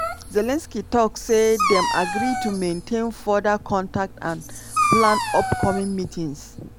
zelensky tok say dem "agree to maintain further contact and plan upcoming meetings".